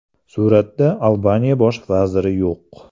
Suratda Albaniya bosh vaziri yo‘q.